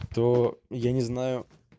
то я не знаю